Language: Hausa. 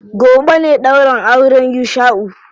Gobe ne ɗaurin auren Yusha'u.